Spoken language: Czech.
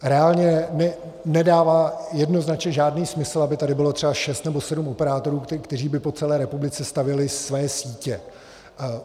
Reálně nedává jednoznačně žádný smysl, aby tady bylo třeba šest nebo sedm operátorů, kteří by po celé republice stavěli své sítě.